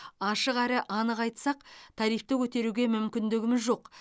ашық әрі анық айтсақ тарифті көтеруге мүмкіндігіміз жоқ